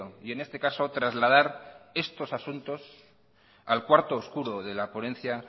y en este caso trasladar estos asuntos al cuarto oscuro de la ponencia